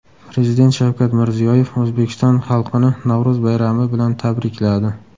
Prezident Shavkat Mirziyoyev O‘zbekiston xalqini Navro‘z bayrami bilan tabrikladi.